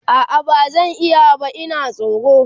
a'a bazan iya ba Ina tsoro